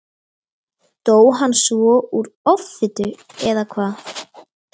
Dó hann svo úr offitu, eða hvað?